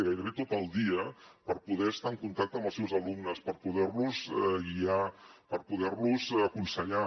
gairebé tot el dia per poder estar en contacte amb els seus alumnes per poder los guiar per poder los aconsellar